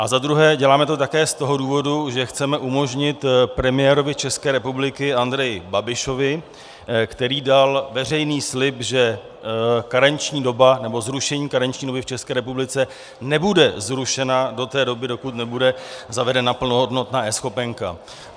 A za druhé, děláme to také z toho důvodu, že chceme umožnit premiérovi České republiky Andreji Babišovi, který dal veřejný slib, že karenční doba, nebo zrušení karenční doby v České republice, nebude zrušena do té doby, dokud nebude zavedena plnohodnotná eNeschopenka.